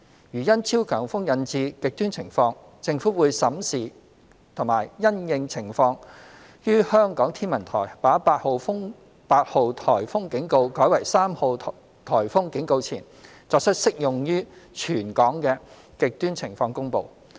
如因超強颱風引致"極端情況"，政府會審視及因應情況，於香港天文台把8號颱風警告改為3號颱風警告前，作出適用於全港的"極端情況"公布。